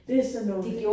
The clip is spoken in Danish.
Det sådan nogen